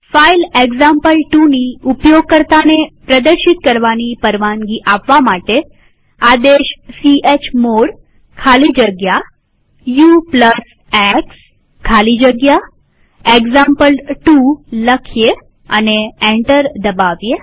file example2ની ઉપયોગકર્તાને પ્રદર્શિત કરવાની પરવાનગી આપવા માટે આદેશ ચમોડ ખાલી જગ્યા ux ખાલી જગ્યા એક્ઝામ્પલ2 લખીએ અને એન્ટર દબાવીએ